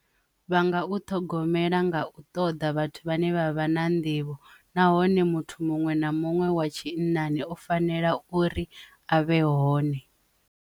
Vha nga u ṱhogomela nga u ṱoḓa vhathu vhane vha vha na nḓivho nahone muthu muṅwe na muṅwe wa tshinnani o fanela uri a vhe hone.